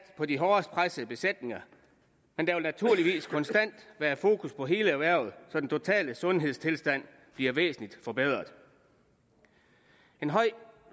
på de hårdest pressede besætninger men der vil naturligvis konstant være fokus på hele erhvervet så den totale sundhedstilstand bliver væsentlig forbedret en høj